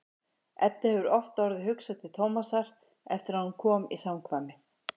Eddu hefur oft orðið hugsað til Tómasar eftir að hún kom í samkvæmið.